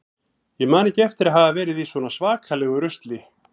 Ég man ekki eftir að hafa verið í svona svakalegu rusli.